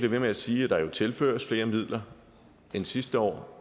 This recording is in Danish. ved med at sige at der jo tilføres flere midler end sidste år